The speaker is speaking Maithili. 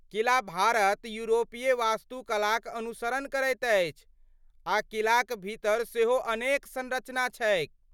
किला भारत यूरोपीय वास्तुकलाक अनुसरण करैत अछि आ किलाक भीतर सेहो अनेक संरचना छैक।